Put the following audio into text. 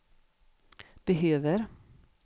behöver